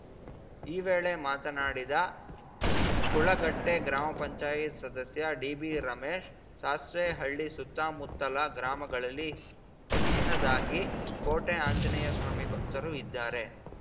ಈ ವೇಳೆ ಮಾತನಾಡಿದ ಕುಳಗಟ್ಟೆಗ್ರಾಮ ಪಂಚಾಯತ್ ಸದಸ್ಯ ಡಿಬಿರಮೇಶ್‌ ಸಾಸ್ವೆಹಳ್ಳಿ ಸುತ್ತಮುತ್ತಲ ಗ್ರಾಮಗಳಲ್ಲಿ ಹೆಚ್ಚಿನದಾಗಿ ಕೋಟೆ ಆಂಜನೇಯಸ್ವಾಮಿ ಭಕ್ತರು ಇದ್ದಾರೆ